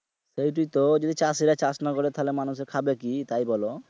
ঐটাই তো যদি চাষী রা চাষ না করে তাহলে মানুষে খাবে কি তাই বোলো